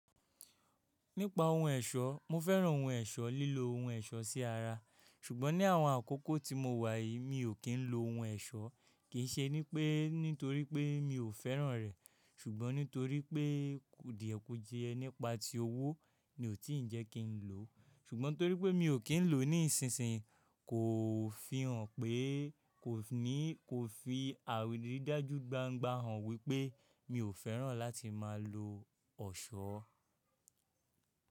Nípa ohun ọ̀ṣọ́, mo fẹ́ràn ohun ọ̀ṣọ́, lílo ohun ọ̀ṣọ́ sí ara, ṣùgbọ́n ní àwọn àkókò tí mo wà yìí mi ò kín ń lo ohun ọ̀ṣọ́. Kì í ṣe ní pé nítorí pé mi ò fẹ́ràn rẹ̀, ṣùgbọ́n nítorí pé díẹ̀ kù jíẹ nípa tí owó mi ò tí ń jẹ́ kí n lò ó. Ṣùgbọ́n torí pé mi ò kín ń lò ó ní ìsinsìnyí kò fi hàn pé kò ní, kò fi àrídájú gbangba hàn wípé mi ò fẹ́ràn láti máa lo ọ̀ṣọ́.